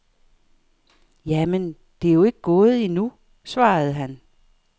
Jamen, det er jo ikke gået endnu, svarede han.